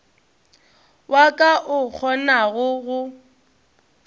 wa ka o kgonago go